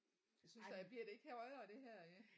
Jeg synes da bliver det ikke højere det her i